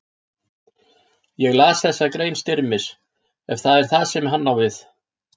Ég las þessa grein Styrmis, ef það er það sem hann á við.